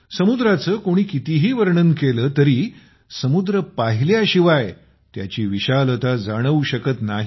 समुद्राचे कोणी कितीही वर्णन केले तरी समुद्र पाहिल्याशिवाय त्याची विशालता जाणवू शकत नाही